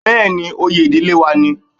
Bẹ́ẹ̀ni, oyè ìdílé wa ni